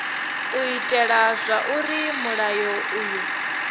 u itela zwauri mulayo uyu